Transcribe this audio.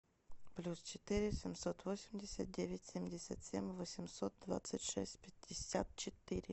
плюс четыре семьсот восемьдесят девять семьдесят семь восемьсот двадцать шесть пятьдесят четыре